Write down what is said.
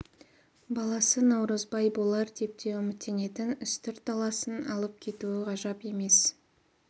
баласы наурызбай болар деп те үміттенетін үстірт даласын алып кетуі ғажап емес